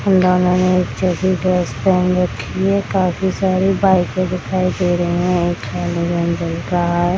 इन दोनों ने एक जैसी ड्रेस पहन रखी है काफी सारी बाइकें दिखाई दे रहे हैं एक --